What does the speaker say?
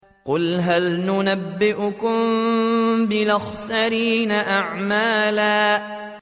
قُلْ هَلْ نُنَبِّئُكُم بِالْأَخْسَرِينَ أَعْمَالًا